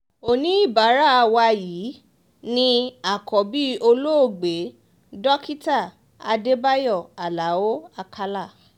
oníbàárà wa yìí ni àkọ́bí olóògbé dókítà adébáyò aláọ̀ àkàlà